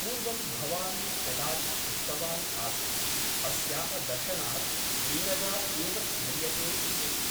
पूर्वं भवान् कदाचित् उक्तवान् आसीत् अस्याः दर्शनात् नीरजा एव स्मर्यते इति ।